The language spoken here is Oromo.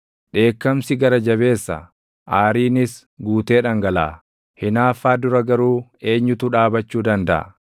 Dheekkamsi gara jabeessa; aariinis guutee dhangalaʼa; hinaaffaa dura garuu eenyutu dhaabachuu dandaʼa?